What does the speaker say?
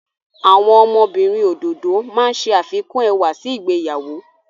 Àwọn ọmọbìnrin òdòdó máa ń ṣe àfikún ẹwà sí ìgbéyàwó.